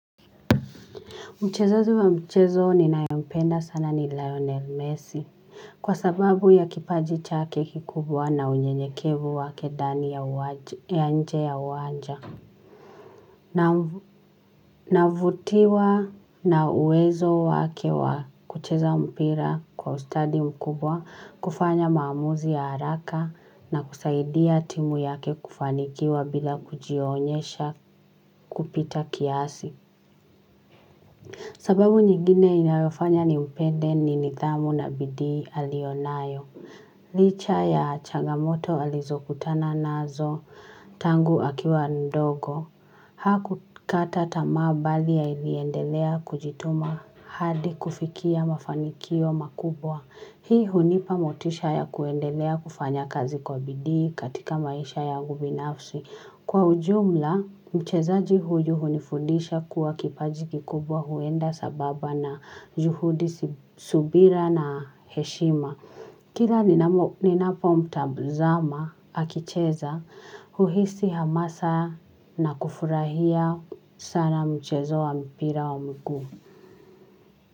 Mchezaji wa mchezo ni nae mpenda sana ni Lionel Messi. Kwa sababu ya kipaji chake kikubwa na unyenyekevu wake ndani ya uwanja ya nje ya uwanja. Navutiwa na uwezo wake wa kucheza mpira kwa ustadi mkubwa, kufanya maamuzi ya haraka na kusaidia timu yake kufanikiwa bila kujionyesha kupita kiasi. Sababu nyingine inayofanya ni mpende ni nidhamu na bidii aliyonayo. Licha ya chagamoto alizo kutana nazo tangu akiwa ndogo. Hakukata tamaa bali aliendelea kujituma hadi kufikia mafanikio makubwa. Hii hunipa motisha ya kuendelea kufanya kazi kwa bidii katika maisha yangu binafsi. Kwa ujumla, mchezaji huyu hunifundisha kuwa kipaji kikubwa huenda sambamba na juhudi subira na heshima. Kila ninapo mtazama akicheza, huhisi hamasa na kufurahia sana mchezo wa mpira wa miguu.